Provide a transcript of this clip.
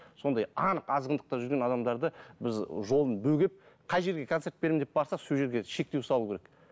сондай анық азғындықта жүрген адамдарды біз жолын бөгеп қай жерге концерт беремін деп барса сол жерге шектеу салу керек